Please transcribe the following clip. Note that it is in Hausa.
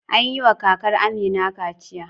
An yi wa kakar Amina kaciya.